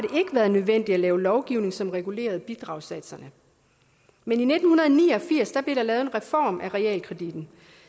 været nødvendigt at lave lovgivning som regulerede bidragssatserne men i nitten ni og firs blev der lavet en reform af realkreditten